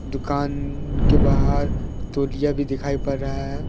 दुकान के बाहर तौलिया भी दिखाई पड़ रहा है ।